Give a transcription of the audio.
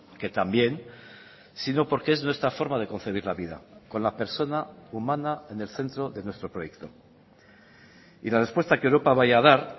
que también sino porque es nuestra forma de concebir la vida con la persona humana en el centro de nuestro proyecto y la respuesta que europa vaya a dar